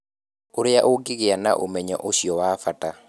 Ũrĩa ũngĩgĩa na ũmenyo ũcio wa bata.